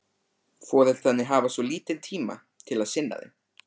Foreldrarnir hafa svo lítinn tíma til að sinna þeim.